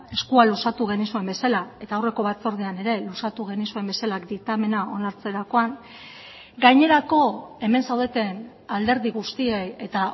eskua luzatu genizuen bezala eta aurreko batzordean ere luzatu genizuen bezala diktamena onartzerakoan gainerako hemen zaudeten alderdi guztiei eta